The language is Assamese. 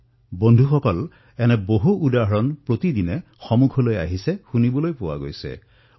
বন্ধুসকল এনে কিমান উদাহৰণ প্ৰতিদিনে আমি দেখিবলৈ আৰু শুনিবলৈ পাইছো